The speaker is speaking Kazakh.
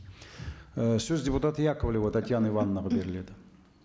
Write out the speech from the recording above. і сөз депутат яковлева татьяна ивановнаға беріледі